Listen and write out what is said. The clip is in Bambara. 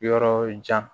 Yɔrɔ jan